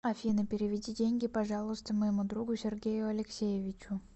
афина переведи деньги пожалуйста моему другу сергею алексеевичу